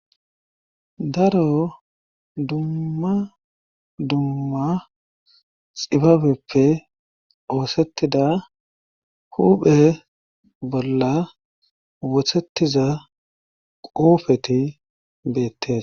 daro dumma dumma xibabeppe oosettida huphe bolla wothettiza quufeti beettes